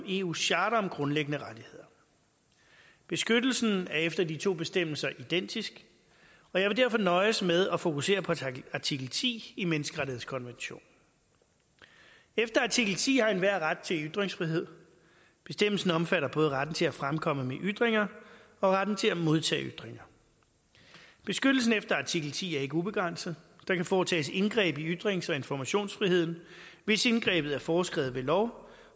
i eus charter om grundlæggende rettigheder beskyttelsen efter de to bestemmelser identisk og jeg vil derfor nøjes med at fokusere på artikel ti i menneskerettighedskonventionen efter artikel ti har enhver ret til ytringsfrihed bestemmelsen omfatter både retten til at fremkomme med ytringer og retten til at modtage ytringer beskyttelsen efter artikel ti er ikke ubegrænset der kan foretages indgreb i ytrings og informationsfriheden hvis indgrebet er foreskrevet ved lov